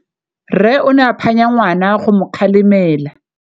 Rre o ne a phanya ngwana go mo galemela.